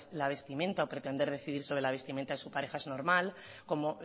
la vestimenta o pretender decidir sobre la vestimenta de su pareja es normal como